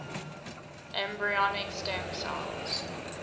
embryonic stem cells